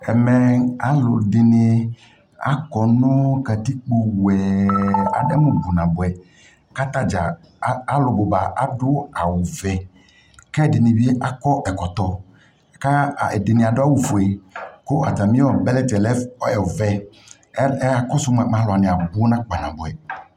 Ɛmɛ alʋɛdini akɔ nʋ katikpo wɛɛɛ, adɛmʋ bʋ naboɛ kʋ atadza, alʋ bʋba adʋ awu vɛ, kʋ ɛdini bi adu ɛkɔtɔ ka ɛdini adu awu fue, kʋ atami bɛlɛti yɛ lɛ ɔvɛ Ɛɛ ɛ akɔsʋ moa mɛ alʋwani abʋ kpanaboɛ